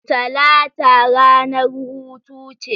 Talata ranar hutu ce